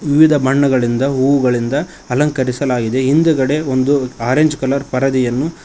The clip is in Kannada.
ವಿವಿಧ ಬಣ್ಣಗಳಿಂದ ಹೂಗಳಿಂದ ಅಲಂಕರಿಸಲಾಗಿದೆ ಹಿಂದುಗಡೆ ಒಂದು ಅರೆಂಜ್ ಕಲರ್ ಪರದೆಯನ್ನು